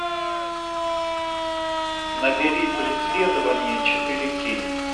набери преследование четыре кей